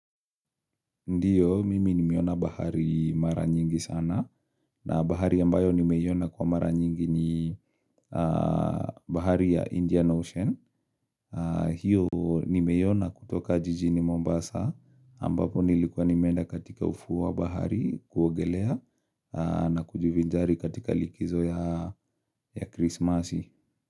Ndiyo, mimi nimeona bahari mara nyingi sana na bahari ambayo nimeiona kwa mara nyingi ni bahari ya Indian Ocean. Hiyo nimeiona kutoka jijini Mombasa ambapo nilikuwa nimeenda katika ufuo wa bahari kuogelea na kujivinjari katika likizo ya krismasi.